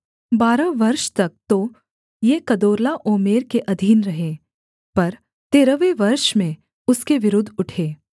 बारह वर्ष तक तो ये कदोर्लाओमेर के अधीन रहे पर तेरहवें वर्ष में उसके विरुद्ध उठे